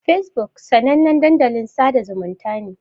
Fesbuk sanannen dandalin sada zumunta ne.